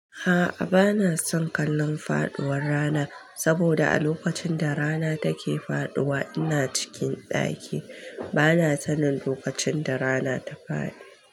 A'a bana son kallon faɗuwar rana saboda a lokacin da rana take faɗuwa ina cikin ɗaki bana sanin lokacin da rana ta faɗi.